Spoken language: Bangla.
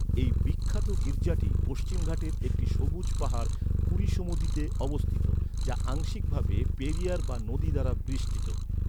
এই বিখ্যাত গির্জাটি পশ্চিমঘাটের একটি সবুজ পাহাড় কুরিসুমুদিতে অবস্থিত, যা আংশিকভাবে পেরিয়ার বা নদী দ্বারা বেষ্টিত।